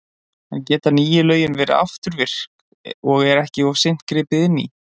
En geta nýju lögin verið afturvirk og er ekki of seint gripið inn í?